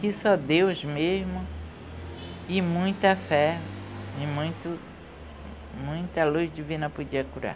Que só Deus mesmo e muita fé e muito, muita luz divina podia curar.